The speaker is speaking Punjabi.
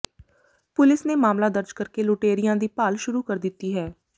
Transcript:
ਪੁਲਿਸ ਨੇ ਮਾਮਲਾ ਦਰਜ ਕਰ ਕੇ ਲੁਟੇਰਿਆਂ ਦੀ ਭਾਲ ਸ਼ੁਰੂ ਕਰ ਦਿੱਤੀ ਹੈ